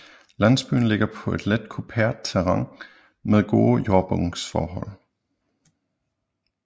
Landsbyen ligger på et let kuperet terræn med gode jordbundsforhold